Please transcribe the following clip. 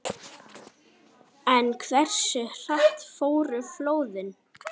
En hversu hratt fóru flóðin?